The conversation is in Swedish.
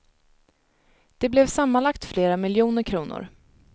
Det blev sammanlagt flera miljoner kronor.